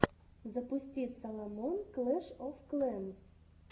запусти саломон клэш оф клэнс